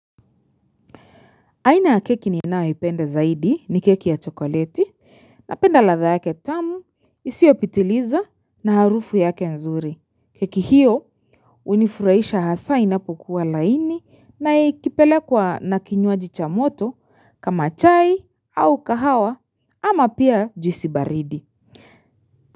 Aina ya keki ninayoipenda zaidi ni keki ya chokoleti napenda ladha yake tamu, isiyopitiliza na harufu yake nzuri. Keki hiyo, hunifurahisha hasa inapokuwa laini na ikipelekwa na kinywaji cha moto kama chai au kahawa ama pia juisi baridi.